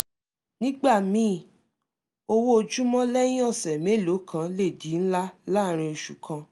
nígbà míì owó ojúmọ́ lẹ́yìn ọ̀ṣẹ̀ mélòó kan lè di ńlá láàárín oṣù kan